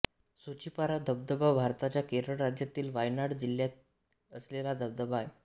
सूचीपारा धबधबा भारताच्या केरळ राज्यातील वायनाड जिल्ह्यात असलेला धबधबा आहे